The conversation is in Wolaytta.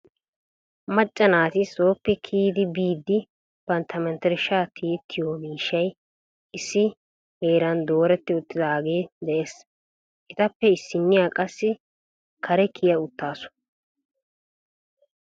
Macca naati sooppe koyyidi biidi bantya menttershsja tiyyettiyo miishshay issi jeeran dooreti uttidaage de'ees. Etappe issiniya qassi kare kiya uttaasu.